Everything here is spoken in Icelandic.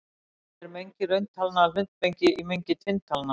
Er mengi rauntalna hlutmengi í mengi tvinntalna?